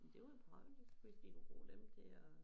Det var da praktisk hvis de kunne bruge dem til at